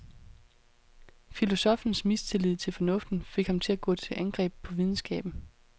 Filosoffens mistillid til fornuften fik ham til at gå til angreb på videnskaben.